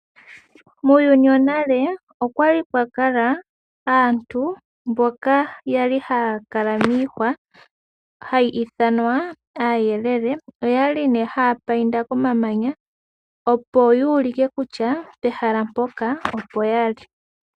Muuyuni wonale okwali pwakala aantu mboka yali haya kala miihwa hayi ithanwa aayelele oyali haya painta koma manya opo yu ulike kutya pehala mpoka opo yali.